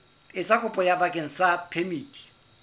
etsa kopo bakeng sa phemiti